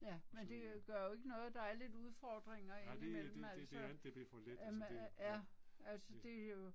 Så øh. Nej det det det det andet det blev for let altså, det ja, ja